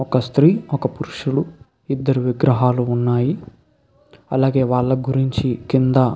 ఒక స్త్రీ ఒక పురుషులు ఇద్దరు విగ్రహాలు ఉన్నాయీ అలాగే వాళ్ళ గురించి కింద --